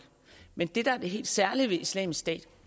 men det der er det helt særlige ved islamisk stat